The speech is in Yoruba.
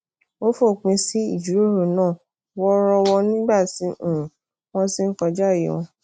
ó fòpin sí ìjíròrò náà woorowo nígbà tí um won ti n kojaaye won